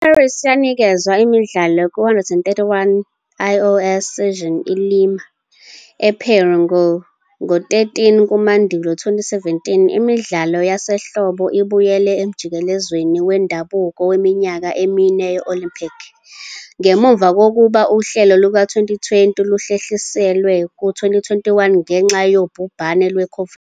IParis yanikezwa iMidlalo ku-131st IOC Session ILima, ePeru, ngo-13 kumandulo 2017. Imidlalo yasehlobo ibuyele emjikelezweni wendabuko weminyaka emine we-Olympic, ngemuva kokuba Uhlelo luka-2020 luhlehliselwe ku-2021 ngenxa yobhubhane lwe-COVID-19.